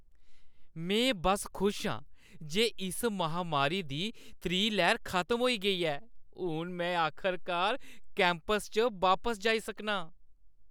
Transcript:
में बस्स खुश आं जे इस महामारी दी त्री लैह्‌र खत्म होई गेई ऐ। हून में आखरकार कैंपस च बापस जाई सकनां।